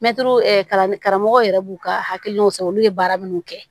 Mɛtiri kalan karamɔgɔw yɛrɛ b'u ka hakilinaw san olu ye baara minnu kɛ